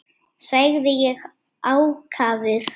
sagði ég ákafur.